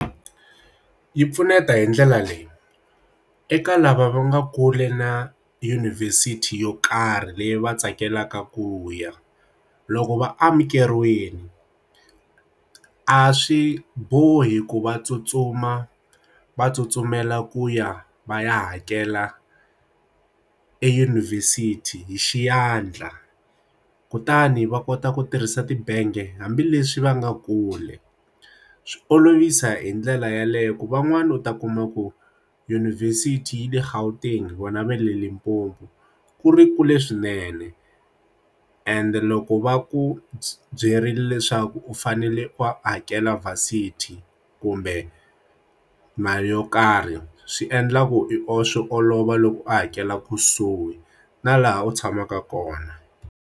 Yi pfuneta hi ndlela leyi, eka lava va nga kule na yunivhesiti yo karhi leyi va tsakelaka ku ya loko va amukeriweni a swi bohi ku va tsutsuma va tsutsumela ku ya va ya hakela eyunivhesithi hi xiandla kutani va kota ku tirhisa tibangi hambileswi va nga kuli swi olovisa hi ndlela yeleyo ku van'wani u ta kuma ku yunivhesiti yi le Gauteng vona va le Limpopo ku ri kule swinene and loko va ku byi ri leswaku u fanele u hakela vale sixty kumbe mali yo karhi swi endla ku i o swi olova loko u hakela kusuhi na laha u tshamaka kona.